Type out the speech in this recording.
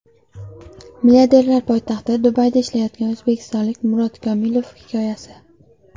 Milliarderlar poytaxti Dubayda ishlayotgan o‘zbekistonlik Murod Komilov hikoyasi.